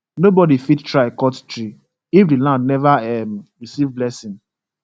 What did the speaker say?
nobody fit try cut tree if the land never um receive blessing